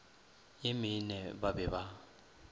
ye mene ba be ba